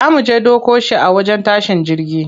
Za muje ɗauko shi a wajen tashin jirgi.